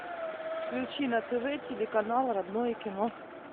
включи на тв телеканал родное кино